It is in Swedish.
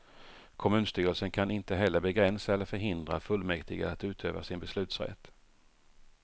Kommunstyrelsen kan inte heller begränsa eller förhindra fullmäktige att utöva sin beslutsrätt.